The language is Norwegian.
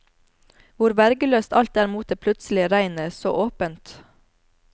Hvor vergeløst alt er mot det plutselige regnet, så åpent.